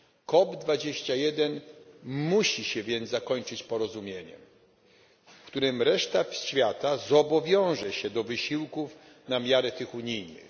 COP 21 musi się więc zakończyć porozumieniem, w którym reszta świata zobowiąże się do wysiłków na miarę tych unijnych.